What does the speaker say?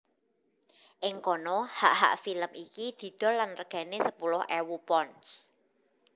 Ing kono hak hak film iki didol lan regané sepuluh ewu pounds